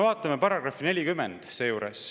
Vaatame § 40.